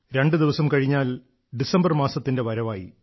രണ്ടുദിവസം കഴിഞ്ഞാൽ ഡിസംബർ മാസത്തിന്റെ വരവായി